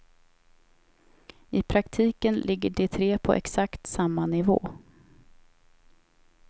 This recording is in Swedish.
I praktiken ligger de tre på exakt samma nivå.